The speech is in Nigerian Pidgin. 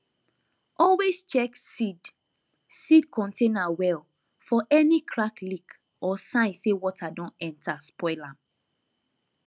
always check seed seed container well for any crack leak or sign say water don enter spoil am